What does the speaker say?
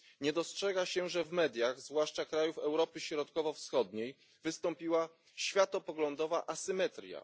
Nie dostrzega się, że w mediach, zwłaszcza krajów Europy Środkowo Wschodniej, wystąpiła światopoglądowa asymetria.